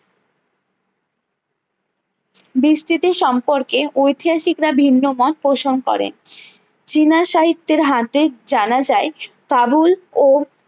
বিস্তৃতি সম্পর্কে ঐতিহাসিকরা ভিন্ন মত প্রশম করেন চীনা সাহিত্যের হাতে জানা যায় কাবুল ও